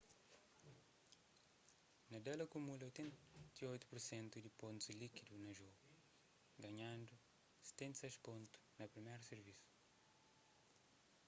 nadal akumula 88% di pontus líkidu na jogu ganhandu 76 pontus na priméru sirvisu